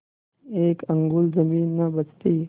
एक अंगुल जमीन न बचती